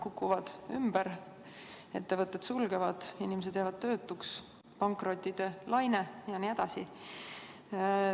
Ettevõtted sulgevad, inimesed jäävad töötuks, pankrottide laine jne.